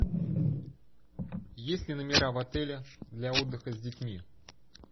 есть ли номера в отеле для отдыха с детьми